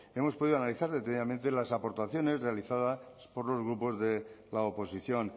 hemos podido analizar detalladamente las aportaciones realizadas por los grupos de la oposición